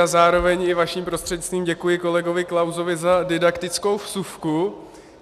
A zároveň i vaším prostřednictvím děkuji kolegu Klausovi za didaktickou vsuvku.